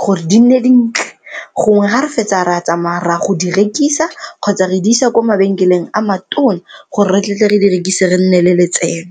gore di nne dintle gongwe ga re fetsa re a tsamaya reya go di rekisa kgotsa re di isa kwa mabenkeleng a matona gore re tle tle re di rekise re nne le letseno.